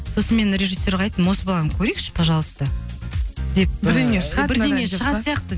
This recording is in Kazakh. сосын мен режиссерға айттым осы баланы көрейікші пожалуйста деп бірдеңе шығатын сияқты